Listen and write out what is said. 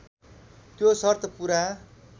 त्यो सर्त पुरा